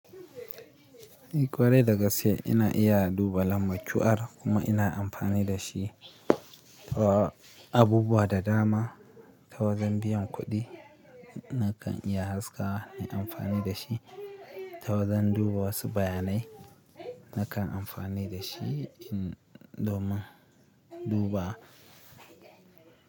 Eh, kwarai daga sai ina iya duba lambar QR kuma ina amfani da shi. Ta abubuwa da dama, tawajan biyan kuɗi na kan iya haskawa na amfani da shi. Tawajan duba wasu bayanai na kan amfani da shi domin duba.